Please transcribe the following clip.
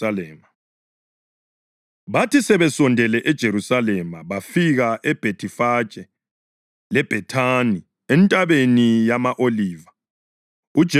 Bathi sebesondele eJerusalema bafika eBhethifage leBhethani eNtabeni yama-Oliva. UJesu wathuma abafundi bakhe ababili